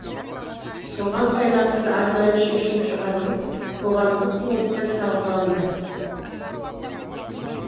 соған байланысты арнайы шешім шығарылып қоғамдық кеңесте талқыланды